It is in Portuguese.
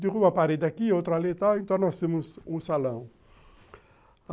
Derruba a parede aqui, outra ali e tal, então nós temos um salão.